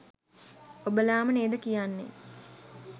ඔබලාම නේද කියන්නෙ